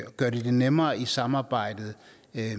gør det det nemmere i samarbejdet